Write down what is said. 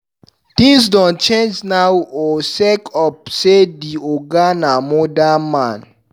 Tins don change now o sake of say di oga na modern man.